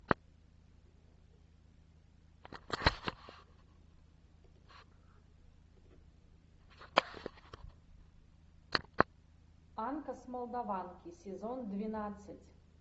анка с молдаванки сезон двенадцать